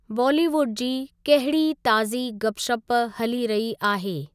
बॉलीवुड जी कहिड़ी ताज़ी गपशप हली रही आहे।